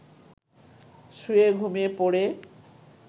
শুয়ে ঘুমিয়ে পড়ে